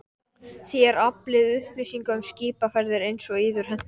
Þér aflið upplýsinga um skipaferðir einsog yður hentar.